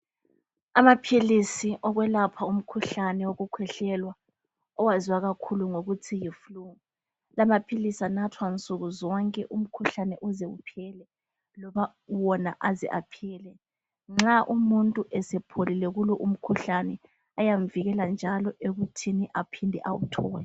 Amaphilisi okwelapha umkhuhlane wokukhwehlela oyaziwa kakhulu ngokuthi yi flue lamaphilisi anathwa nsukuzonke umkhuhlane uze ephele loba wona aze aphele nxa umuntu esepholile kulo umkhuhlane ayamvikela njalo ekuthini aphinde awuthole.